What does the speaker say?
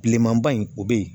Bilenmanba in o bɛ yen